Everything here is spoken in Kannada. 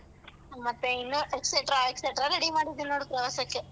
ಮತ್ತೆ ಇನ್ನೂ etcetera etcetera ready ಮಾಡಿದಿನ್ ನೋಡು ಪ್ರವಾಸಕ್ಕೆ.